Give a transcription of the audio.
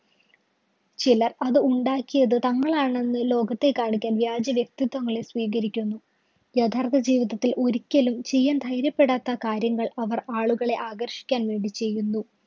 ചിലര്‍ അത് ഉണ്ടാക്കിയത് തങ്ങളാണെന്ന് ലോകത്തെ കാണിക്കാന്‍ വ്യാജ്ജവ്യക്തിത്വങ്ങളെ സ്വീകരിക്കുന്നു. യഥാര്‍ത്ഥ ജീവിതത്തില്‍ ഒരിക്കലും ചെയ്യാന്‍ ധൈര്യപ്പെടാത്ത കാര്യങ്ങള്‍ അവര്‍ ആളുകളെ ആകര്‍ഷിക്കാന്‍ വേണ്ടി ചെയ്യുന്നു.